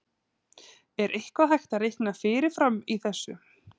Er eitthvað hægt að reikna fyrirfram í þessu?